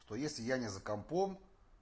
что если я не за компом